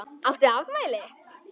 Áttu afmæli?